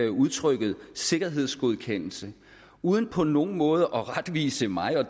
udtrykket sikkerhedsgodkendelse uden på nogen måde at retvise mig og